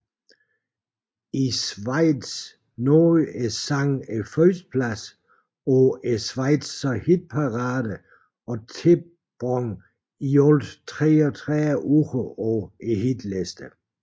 I Schweiz nåede sangen førstepladsen på Schweizer Hitparade og tilbragte i alt 33 uger på hitlisterne